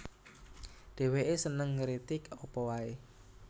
Dhèwèké seneng ngritik apa waé